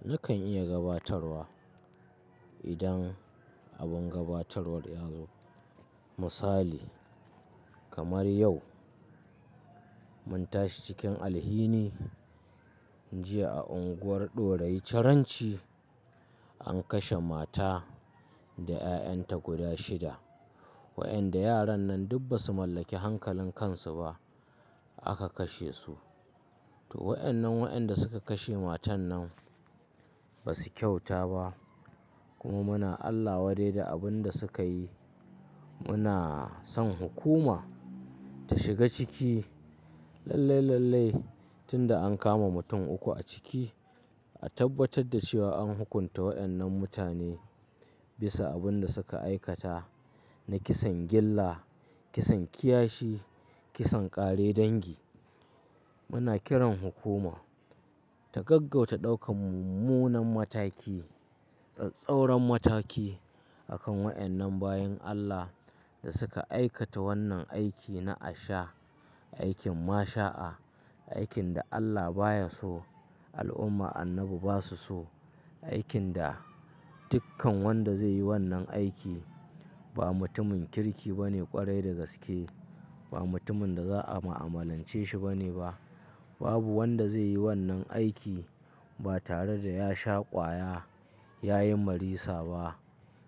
Nakan iya gabatarwa idan abin gabatarwa yazo misali kamar yau, mun tashi cikin alhini, jiya a unguwar Ɗorayi Ciranci an kashe mata da 'ya'yan ta guda shida. Wa'inda yaran nan duk ba su mallaki hankalin kansu ba aka kashe su. To wa'inan wa'inda suka kashe matan nan ba su kyauta ba kuma muna Allah wadai da abin da suka yi. Muna son hukuma ta shiga ciki lallai, lallai tun da an kama mutum uku a ciki, a tabbatar da cewa an hukunta wa'innan mutane bisa abin da suka aikata na kisan gyilla, kisan kiyashi, kisan ƙare dangi. Muna kiran hukuma ta gaggauta ɗaukan mummunan mataki, tsattsauran mataki akan wa'innan bayin Allah da suka aikata wannan aiki na asha, aikin masaa, aikin da Allah baya so, al'umma annabi ba su so, aikin da dukkan wanda zai yi wannan aiki ba mutumin kirki bane ƙwarai da gaske. Ba mutumin da za a mu'amalance shi bane ba. Babu wanda zai yi wannan aiki ba tare da ya sha ƙwaya, ya yi marisa ba,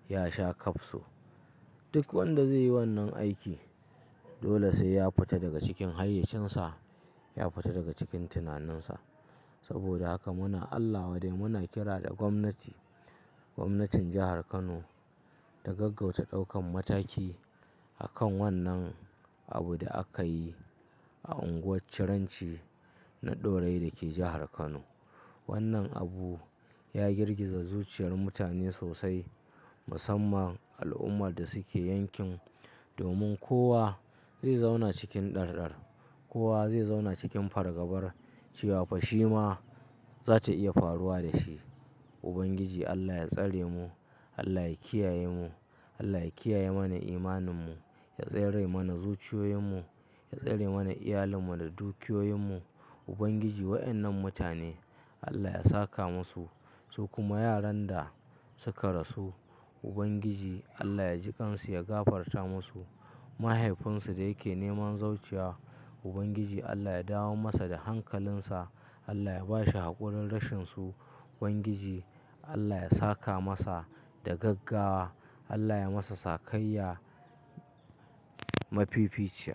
ya sha kafso. Duk wanda zai yi wannan aiki dole sai ya fita daga cikin hayyacinsa, ya fita daga cikin tunaninsa. Saboda haka muna Allah wada muna kira da gwamnati, gwamnatin jahar Kano ta gaggauta ɗaukan mataki akan wannan abin da aka yi a unguwar Ciranci na Ɗorayi dake jahar Kano. Wannan abu ya girgiza zuciyar mutane sosai musamman al'ummar da suke yankin. Domin kowa zai zauna cikin ɗarɗar, kowa zai zauna cikin fargabar cewa fa shi ma zata iya faruwa da shi. Ubangiji Allah ya tsare mu, Allah ya kiyaye mu, Allah ya kiyaye mana imaninmu, ya tsere mana zuciyoyinmu, ya tsere mana iyalinmu da dukiyoyinmu. Ubangiji wa'innan mutane Allah ya saka musu su kuma yaran da suka rasu Ubangiji Allah ya ji ƙan su, ya gafarta musu. Mahaifinsu da yake neman zauciya Ubangiji Allah ya dawo masa da hankalinsa, Allah ya ba shi haƙurin rashinsu. Ubangiji Allah ya saka masa da gaggawa, Allah ya masa sakayya. Mafi fi ce.